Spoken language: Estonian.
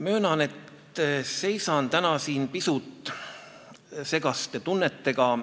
Möönan, et seisan täna siin pisut segaste tunnetega.